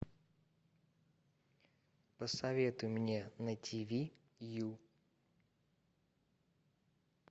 посоветуй мне на тв ю